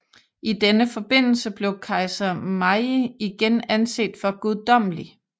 I denne forbindelse blev kejser Meiji igen anset for guddommelig